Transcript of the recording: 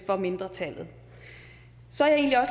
for mindretallet så er jeg